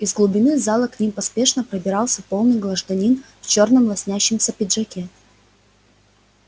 из глубины зала к ним поспешно пробирался полный гражданин в чёрном лоснящемся пиджаке